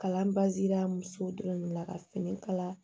Kalan baazira musow dɔrɔn de la ka fini kala